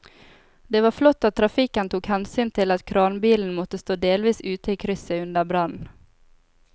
Det var flott at trafikken tok hensyn til at kranbilen måtte stå delvis ute i krysset under brannen.